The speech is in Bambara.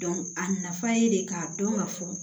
a nafa ye de k'a dɔn ka fɔ